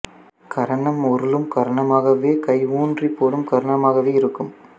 கரணம் உருளும் கரணமாகவோ கை உன்றிப் போடும் கரணமாகவோ இருக்கும்